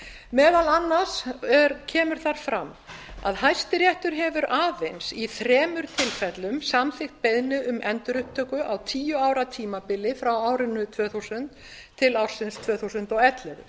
meðal annars kemur þar fram að hæstiréttur hefur aðeins í þremur tilfellum samþykkt beiðni um endurupptöku á tíu ára tímabili frá tvö þúsund til tvö þúsund og ellefu